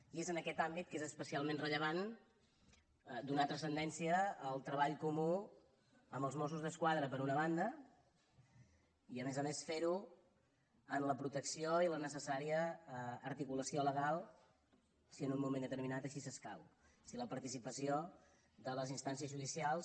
i és en aquest àmbit que és especialment rellevant donar transcendència al treball comú amb els mossos d’esquadra per una banda i a més a més fer ho en la protecció i la necessària articulació legal si en un moment determinat així escau si la participació de les instàncies judicials